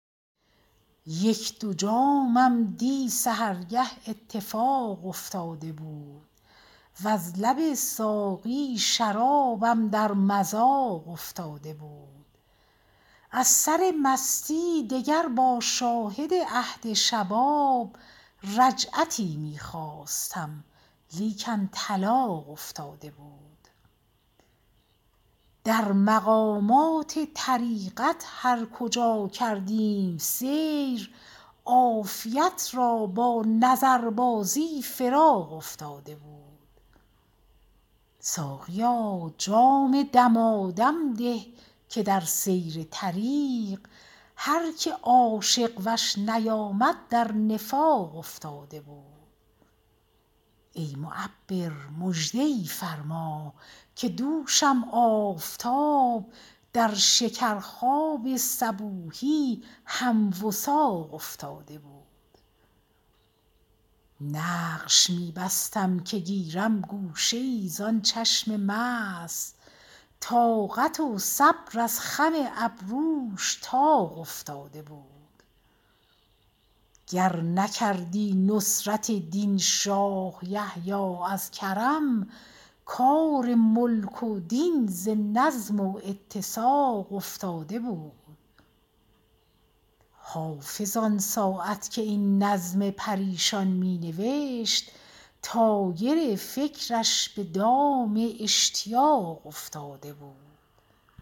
یک دو جامم دی سحرگه اتفاق افتاده بود وز لب ساقی شرابم در مذاق افتاده بود از سر مستی دگر با شاهد عهد شباب رجعتی می خواستم لیکن طلاق افتاده بود در مقامات طریقت هر کجا کردیم سیر عافیت را با نظربازی فراق افتاده بود ساقیا جام دمادم ده که در سیر طریق هر که عاشق وش نیامد در نفاق افتاده بود ای معبر مژده ای فرما که دوشم آفتاب در شکرخواب صبوحی هم وثاق افتاده بود نقش می بستم که گیرم گوشه ای زان چشم مست طاقت و صبر از خم ابروش طاق افتاده بود گر نکردی نصرت دین شاه یحیی از کرم کار ملک و دین ز نظم و اتساق افتاده بود حافظ آن ساعت که این نظم پریشان می نوشت طایر فکرش به دام اشتیاق افتاده بود